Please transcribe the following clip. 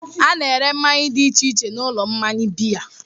A na-ere mmanya dị iche iche n'ụlọ mmanya biya.